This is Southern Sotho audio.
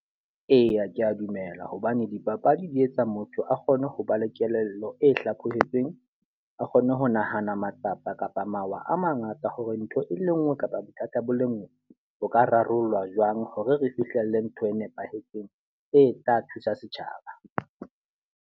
Eya ke a dumela hobane dipapadi di etsa motho a kgone ho ba le kelello e hlaphohetsweng. A kgone ho nahana matsapa kapa mawa a mangata hore ntho e le nngwe kapa bothata bo le nngwe bo ka rarollwa jwang hore re fihlelle ntho e nepahetseng e tla thusa setjhaba.